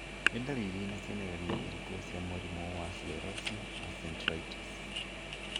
Nĩ ndariri na cionereria irĩkũ cia mũrimũ wa sclerosing mesenteritis?